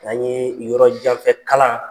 An ye yɔrɔ janfɛ kalan